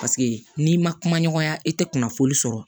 Paseke n'i ma kuma ɲɔgɔnya i tɛ kunnafoni sɔrɔ